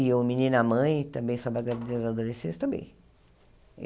E o Menina Mãe, também sobre a gravidez adolescente, também.